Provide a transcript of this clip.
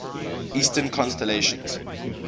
eastern constellations